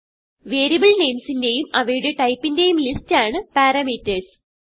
variable names ന്റേയും അവയുടെ ടൈപ്പിന്റേയും ലിസ്റ്റ് ആണ് പാരാമീറ്റർസ്